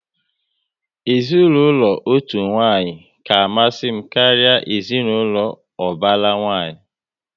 Ezinaụlọ otu nwanyi ka amasị m karịa ezinaụlọ ubara nwanyị